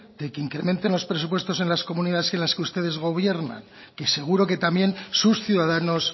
de que incrementen los presupuestos en las comunidades en las que ustedes gobiernan que seguro que también sus ciudadanos